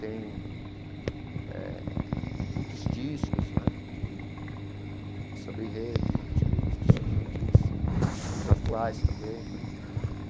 Tem eh muitos discos né de de samba em rede, os antigos discos antigos, discos atuais também.